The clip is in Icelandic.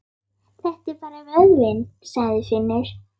Þetta er bara vöðvinn, sagði Finnur.